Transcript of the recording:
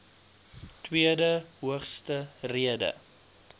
tweede hoogste rede